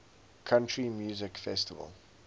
country music festival